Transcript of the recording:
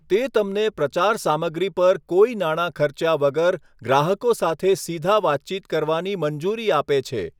તે તમને પ્રચાર સામગ્રી પર કોઈ નાણાં ખર્ચ્યા વગર ગ્રાહકો સાથે સીધા વાતચીત કરવાની મંજૂરી આપે છે.